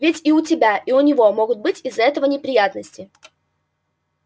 ведь и у тебя и у него могут быть из-за этого неприятности